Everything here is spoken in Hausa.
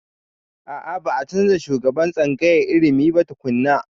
A a.ba a canza shugaban tsangayar ilimin ba tukunna.